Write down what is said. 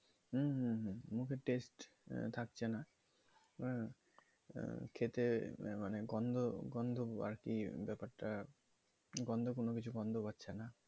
হম মুখের test থাকছে না খেতে মানে গন্ধ গন্ধ আর কি ব্যাপারটা গন্ধ কোন কিছুর গন্ধ পাচ্ছে না